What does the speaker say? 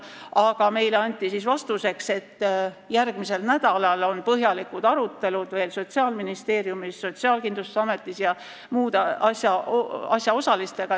Aga meile anti vastuseks, et järgmisel nädalal on põhjalikud arutelud Sotsiaalministeeriumis ja Sotsiaalkindlustusametis koos muude asjaosalistega.